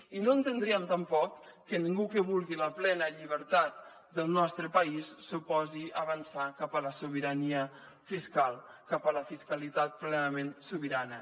i no entendríem tampoc que ningú que vulgui la plena llibertat del nostre país s’oposi a avançar cap a la sobirania fiscal cap a la fiscalitat plenament sobirana